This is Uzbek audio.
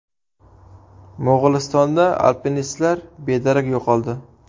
Mo‘g‘ulistonda alpinistlar bedarak yo‘qoldi.